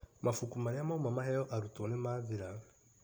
Mabuku marĩa mauma maheo arutwo nĩmathira.